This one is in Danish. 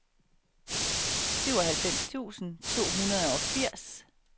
syvoghalvfems tusind to hundrede og firs